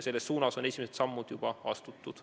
Selles suunas on esimesed sammud juba astutud.